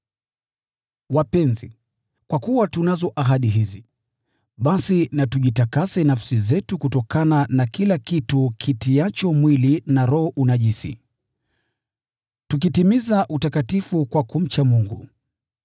Wapenzi, kwa kuwa tunazo ahadi hizi, basi na tujitakase nafsi zetu kutokana na kila kitu kitiacho mwili na roho unajisi, tukitimiza utakatifu kwa kumcha Mungu.